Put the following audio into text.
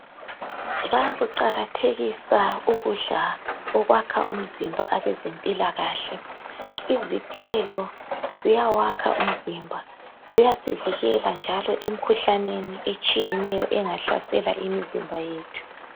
Bayakuqakathisa ukudla okwakha umzimba abeze mpilakahle. Izithelo ziyawakha umzimba ziyasivikela njalo emikhuhlaneni etshiyeneyo engahlasela imizimba yethu